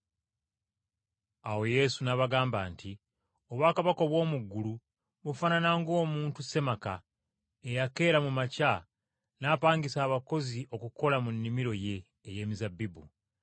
Awo Yesu n’abagamba nti, “Obwakabaka obw’omu ggulu bufaanana ng’omuntu ssemaka, eyakeera mu makya n’apangisa abakozi okukola mu nnimiro ye ey’emizabbibu.